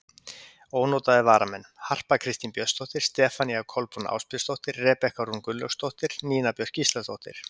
Ónotaðir varamenn: Harpa Kristín Björnsdóttir, Stefanía Kolbrún Ásbjörnsdóttir, Rebekka Rún Gunnlaugsdóttir, Nína Björk Gísladóttir.